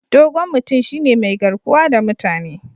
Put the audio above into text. Dogon mutum shine mai garkuwa da mutane.